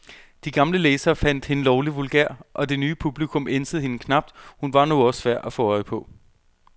De gamle læsere fandt hende lovlig vulgær, og det nye publikum ænsede hende knap, hun var nu også svær at få øje på.